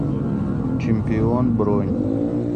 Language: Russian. чемпион бронь